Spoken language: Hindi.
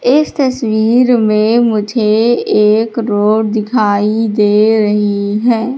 इस तस्वीर में मुझे एक रोड दिखाई दे रही है।